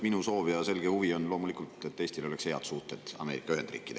Minu soov ja selge huvi on loomulikult see, et Eestil oleksid head suhted Ameerika Ühendriikidega.